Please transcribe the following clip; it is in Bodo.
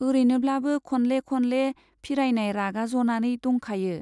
औरैनोब्लाबो खनले खनले फिरायनाय रागा जनानै दंखायो।